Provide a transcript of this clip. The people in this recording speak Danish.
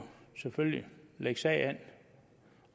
selvfølgelig lægge sag an